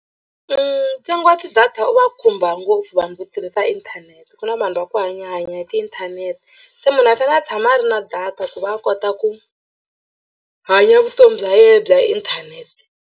Ntsengo wa ti-data u va khumba ngopfu vanhu vo tirhisa inthanete ku na vanhu va ku hanyahanya hi tiinthanete se munhu a fanele a tshama a ri na data ku va a kota ku hanya vutomi bya yena bya inthanete.